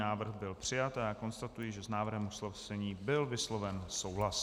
Návrh byl přijat a já konstatuji, že s návrhem usnesení byl vysloven souhlas.